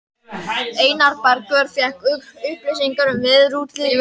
Jóhann: Fékkstu upplýsingar um veðurútlitið?